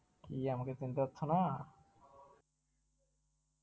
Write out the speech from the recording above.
কি আমাকে কি আমাকে চিনতে পারছনা?